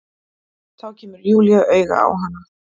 Þá kemur Júlía auga á hana.